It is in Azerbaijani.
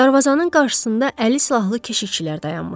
Dərvazanın qarşısında əlli silahlı keşişçilər dayanmışdı.